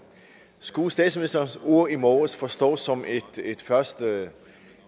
skulle statsministerens ord i morges forstås som et første